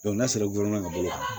n'a sɔrɔ joona ka bolo kan